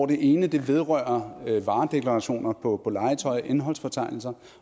den ene vedrører varedeklarationer på legetøj og indholdsfortegnelse